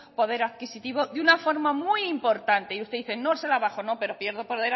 poder adquisitivo de una forma muy importante y usted dice no se han bajado no pero pierdo poder